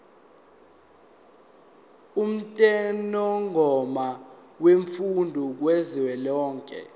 umthethomgomo wemfundo kazwelonke